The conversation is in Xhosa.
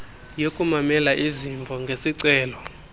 yokumamela izimvo ngesicelo